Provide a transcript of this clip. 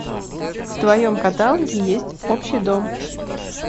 в твоем каталоге есть общий дом